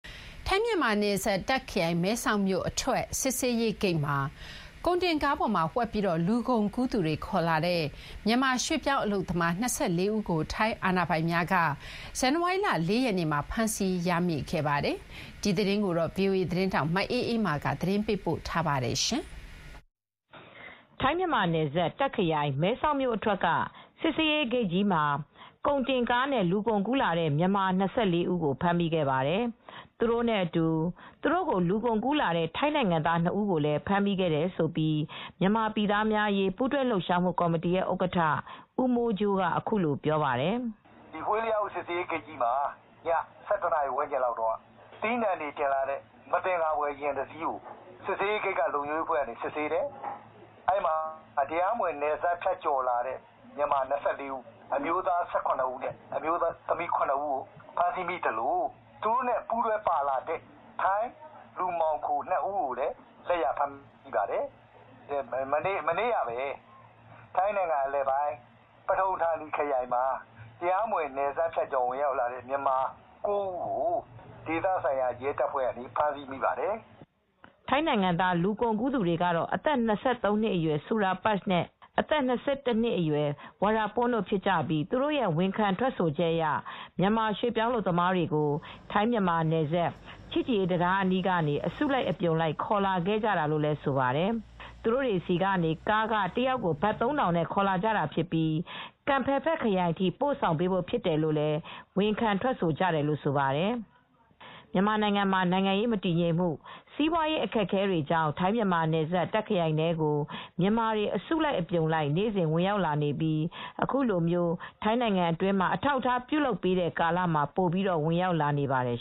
ထိုင်းမြန်မာနယ်စပ် တာ့ခရိုင်မဲဆောက်မြို့အထွက်စစ်ဆေးရေးဂိတ်မှာ ကုန်တင်ကားပေါ်မှာဝှက်ပြီး လူကုန်ကူးသူတွေခေါ်လာတဲ့ မြန်မာရွှေ့ပြောင်းအလုပ်သမား ၂၄ ဦး ကို ထိုင်းအာဏာပိုင်များက ဇန်နဝါရီလ ၄ ရက်နေ့မှာ ဖမ်းဆီးရမိခဲ့ပါတယ်။ ဒီသတင်းကိုဗွီအိုအေသတင်းထောက်မအေးအေးမာကသတင်းပေးပို့ထားပါတယ်။ ထိုင်းမြန်မာနယ်စပ် တာ့ခရိုင် မဲဆောက်မြို့အထွက်က စစ်ဆေးရေးဂိတ်ကြီးမှာ ကုန်တင်ကားနဲ့လူကုန်ကူးလာတဲ့ မြန်မာ၂၄ဦးကို ဖမ်းမိခဲ့ပါတယ်။ သူတို့နဲ့အတူ သူတို့ကိုလူကုန်ကူးလာတဲ့ထိုင်းနိုင်ငံသား ၂ ဦးကိုလည်းဖမ်းမိခဲ့တယ်လို့ မြန်မာပြည်သားများရေးပူးတွဲလှုပ်ရှားမှုကော်မတီဥက္ကဋ္ဌ ဦးမိုးကြိုးကအခုလိုပြောပါတယ်။ "ဟွေ့ယအု စစ်ဆေးရေးဂိတ်ကြီးမှာ ၁၁နာရီဝန်းကျင်လောက်ကသီးနှံတွေတင်လာတဲ့ မသင်္ကာဖွယ်ယာဉ်တစီးကို စစ်ဆေးတယ်။ အဲဒီမှာပဲ တရားမဝင်နယ်စပ်ဖြတ်ကျော်လာတဲ့ မြန်မာ၂၄ ဦးဖမ်းမိတယ် အမျိုးသားက ၁၇ဦး အမျိုးသမီးက ၇ဦးကိုဖမ်းမိတယ်၊ သူတို့နဲ့ ပူးတွဲပါလာတဲ့ထိုင်းလူမှောင်ခို ၂ဦးကိုလည်းလက်ရဖမ်းမိပါတယ်။ မနေ့ကပဲ ပထုံဌာနီခရိုင်ထဲမှာပဲ တရားမဝင်နယ်စပ်ဖြတ်ကျော်ဝင်လာတဲ့မြန်မာ ၉ဦးကိုဖမ်းမိခဲ့ပါတယ်" ထိုင်းနိုင်ငံသားလူကုန်ကူးသူတွေကတော့အသက် ၂၃နှစ်အရွယ် စူရာပချ် အသက် ၂၁နှစ်အရွယ် ၀ရာပွန်း တို့ဖြစ်ကြပြီး သူတို့ရဲ့ဝန်ခံထွက်ဆိုချက်အရ မြန်မာရွှေပြောင်းအလုပ်သမားတွေကို ထိုင်းမြန်မာနယ်စပ်ချစ်ကြည်ရေးတံတားအနီးကနေ အစုလိုက်အပြုံလိုက်ခေါ်လာကြတာလို့ဆိုပါတယ် ။သူတို့တွေဆီကနေ ကားခ တယောက်ကို ဘတ်၃ထောင်နဲ့ ခေါ်လာတာဖြစ်ပြီးကမ်ဖယ်ဖက် ခရိုင်အထိပို့ဆောင်ပေးဖို့ဖြစ်တယ်လို့လည်း ဝန်ခံထွက်ဆိုကြတယ်လို့ ဆိုပါတယ်။ မြန်မာနိုင်ငံမှာနိုင်ငံရေးမတည်ငြိမ်မှု စီးပွားရေးခက်ခဲမှုတွေကြောင့် ထိုင်းမြန်မာနယ်စပ်တာ့ခရိုင်ထဲကို မြန်မာတွေအစုလိုက်အပြုံလိုက်နေ့စဉ်ဝင်ရောက်လာနေပြီးအခုလိုထိုင်းနိုင်ငံအတွင်းမှာအထောက်အထားပြုလုပ်ပေးတဲ့ကာလမှာပိုပြီးဝင်ရောက်လာနေပါတယ်